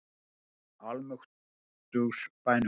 Í almáttugs bænum!